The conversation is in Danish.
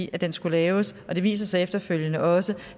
den skulle laves og det viser sig efterfølgende også